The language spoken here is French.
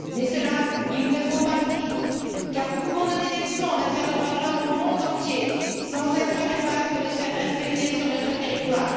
Mais cela, il ne faut pas le dire car nous pouvons donner des leçons en matière de droits de l'homme au monde entier sans être capables de les faire respecter sur notre territoire.